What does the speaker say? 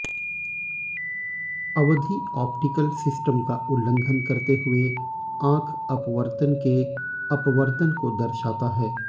अवधि optical system का उल्लंघन करते हुए आंख अपवर्तन के अपवर्तन को दर्शाता है